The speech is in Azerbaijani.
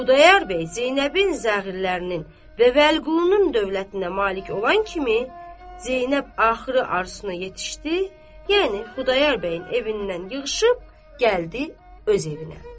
Xudayar bəy Zeynəbin zəhirlərinin və Vəliqulunun dövlətinə malik olan kimi Zeynəb axırı arzusuna yetişdi, yəni Xudayar bəyin evindən yığışıb gəldi öz evinə.